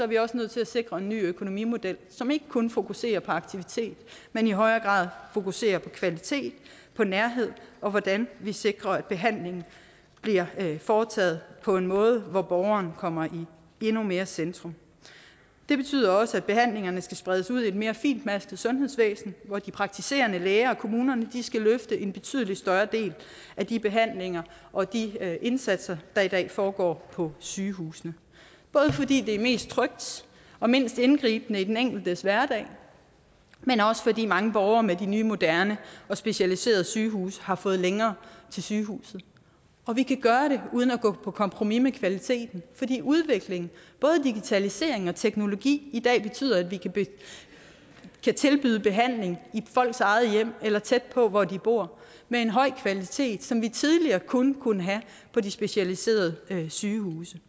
vi også nødt til at sikre en ny økonomimodel som ikke kun fokuserer på aktivitet men i højere grad fokuserer på kvalitet på nærhed og på hvordan vi sikrer at behandlingen bliver foretaget på en måde hvor borgeren kommer endnu mere i centrum det betyder også at behandlingerne skal spredes ud i et mere fintmasket sundhedsvæsen hvor de praktiserende læger og kommunerne skal løfte en betydelig større del af de behandlinger og de indsatser der i dag foregår på sygehusene både fordi det er mest trygt og mindst indgribende i den enkeltes hverdag men også fordi mange borgere med de nye moderne og specialiserede sygehuse har fået længere til sygehuset vi kan gøre det uden at gå på kompromis med kvaliteten fordi udviklingen både digitalisering og teknologi i dag betyder at vi kan tilbyde behandling i folks eget hjem eller tæt på hvor de bor med en høj kvalitet som vi tidligere kun kunne have på de specialiserede sygehuse